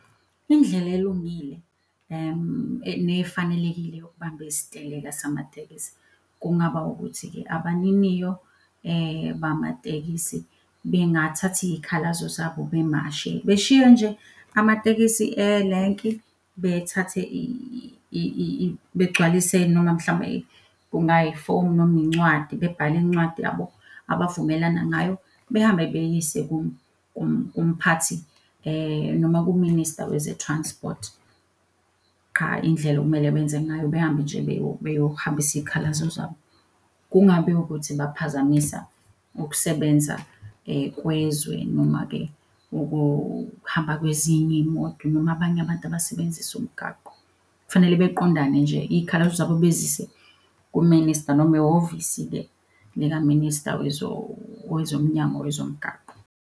Indlela elungile nefanelekile yokubamba isiteleka samatekisi. Kungaba ukuthi-ke abaniniyo bamatekisi bengathatha iy'khalazo zabo bemashe, beshiye nje amatekisi elenki, bethathe begcwalise noma mhlawumbe kungayifoni noma incwadi, bebhale incwadi yabo, abavumelana ngayo, behambe beyiyise kumphathi noma kuminista weze-transport. Qha indlela okumele benze ngayo behambe nje beyohambisa iy'khalazo zabo. Kungabe ukuthi baphazamisa ukusebenza kwezwe, noma-ke ukuhamba kwezinye iy'moto noma abanye abantu abasebenzisa umgaqo. Kufanele beqondane nje iy'khalazo zabo bezise kuminista noma ehhovisi-ke likaminista wezomnyango wezomgaqo.